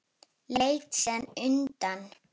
Leit síðan undan.